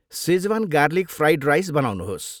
Schezwan garlic fried rice बनाउनुहोस्।